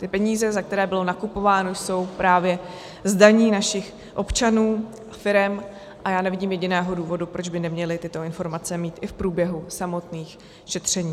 Ty peníze, za které bylo nakupováno, jsou právě z daní našich občanů, firem a já nevidím jediného důvodu, proč by neměli tyto informace mít i v průběhu samotných šetření.